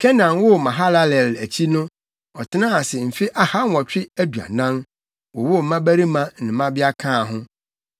Kenan woo Mahalalel akyi no, ɔtenaa ase mfe ahanwɔtwe aduanan, wowoo mmabarima ne mmabea kaa ho.